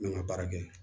N ka baara kɛ